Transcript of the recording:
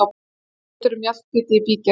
Tvær myndir um Mjallhvíti í bígerð